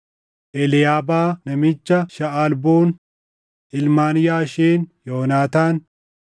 Eliiyaabaa namicha Shaʼalboon, ilmaan Yaasheen, Yoonaataan,